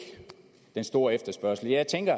den store efterspørgsel jeg tænker